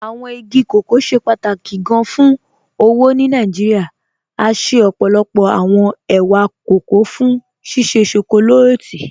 Awọn igi kọkọ ṣẹ pátákì gán fún owó ni Nàìjíríà, à ṣẹ ọ́pọ́lọ́pọ̀ awọn è̩wà kọkọ̀ fún ṣíṣẹ́ shọkọlátì.